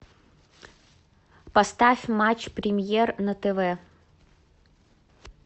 поставь матч премьер на тв